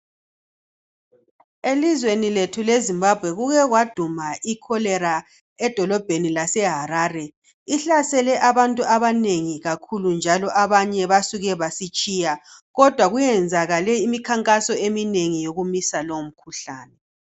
elizweni lethu le zimbabwe kuke kwaduma i cholera edolobheni lase Harare ihlasele abantu abanengi kakhulu njalo abanye basuke basitshiya kodwa kuyenzakale imikhankaso eminengi yokumisa leyo mikhuhlane